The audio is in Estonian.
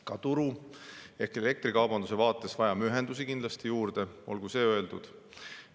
Ka turu ehk elektrikaubanduse vaatest vajame ühendusi kindlasti juurde, olgu see öeldud.